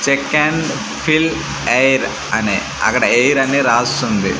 Check and fill air అని అక్కడ air అని రాసి ఉంది.